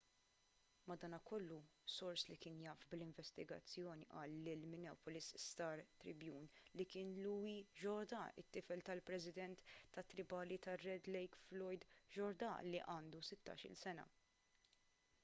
madankollu sors li kien jaf bl-investigazzjoni qal lill-minneapolis star-tribune li kien louis jourdain it-tifel tal-president tat-tribali tar-red lake floyd jourdain u li għandu sittax-il sena